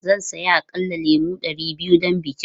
Zan saya aƙalla lemu ɗari biyu don bikin.